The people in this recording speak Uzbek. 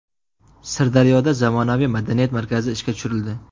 Sirdaryoda zamonaviy madaniyat markazi ishga tushirildi.